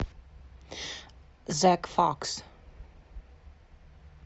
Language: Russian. зек факс